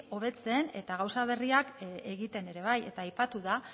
hobetzen eta gauza berriak egiten ere bai eta aipatu da